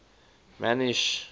man y sh